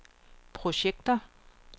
projekter